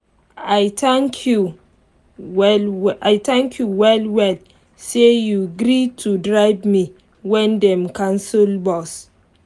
i thank you well well i thank you well well say you gree to drive me when dem cancel bus.